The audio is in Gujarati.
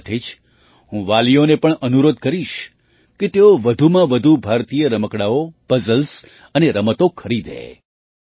તેની સાથે જ હું વાલીઓને પણ અનુરોધ કરીશ કે તેઓ વધુમાં વધુ ભારતીય રમકડાંઓ પઝલ્સ અને રમતો ખરીદે